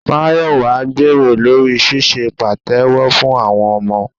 Máyọ̀wà ń gbèrò lórí ṣíṣe pàtẹ́wọ́ fún àwọn ọmọ